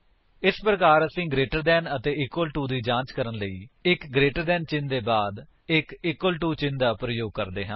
ਇਸ ਪ੍ਰਕਾਰ ਅਸੀ ਗਰੇਟਰ ਦੈਨ ਅਤੇ ਇਕਵਲ ਟੂ ਦੀ ਜਾਂਚ ਕਰਨ ਲਈ ਅਸੀ ਇੱਕ ਗਰੇਟਰ ਦੈਨ ਚਿੰਨ੍ਹ ਦੇ ਬਾਅਦ ਇੱਕ ਇਕਵਲ ਟੂ ਚਿੰਨ੍ਹ ਦਾ ਪ੍ਰਯੋਗ ਕਰਦੇ ਹਾਂ